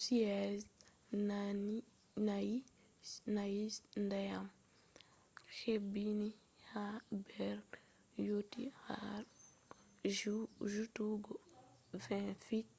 chi’e je je-nayi je ndiyam hebbini ha nder yotti har jutugo 20 fit